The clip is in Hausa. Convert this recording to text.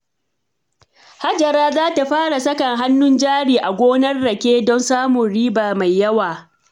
Hajara za ta fara saka hannun jari a gonar rake don samun riba mai yawa.